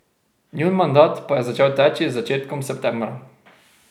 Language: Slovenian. Njun mandat pa je začel teči z začetkom septembra.